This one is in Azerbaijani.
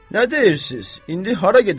Nə deyirsiz, indi hara gedək?